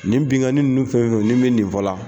Nin binnkanni ninnu fɛn fɛn ni n bɛ nin fɔla